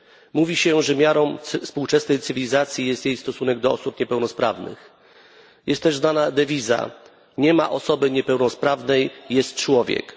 Mówi się, że miarą współczesnej cywilizacji jest jej stosunek do osób niepełnosprawnych. Znana jest również inna dewiza nie ma osoby niepełnosprawnej, jest człowiek.